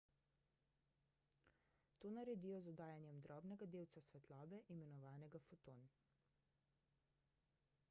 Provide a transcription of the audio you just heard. to naredijo z oddajanjem drobnega delca svetlobe imenovanega foton